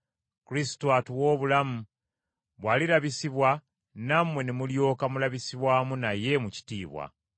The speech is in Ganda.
Kristo atuwa obulamu, bw’alirabisibwa, nammwe ne mulyoka mulabisibwa wamu naye mu kitiibwa.